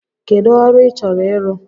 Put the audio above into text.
Kedụ ọrụ ị chọrọ ịrụ?